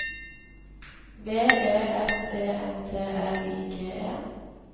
V E S E N T L I G E